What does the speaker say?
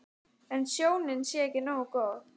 En sjónin sé ekki nógu góð.